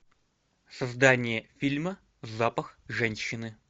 создание фильма запах женщины